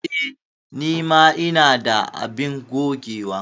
Eh, ni ma ina da abin gogewa.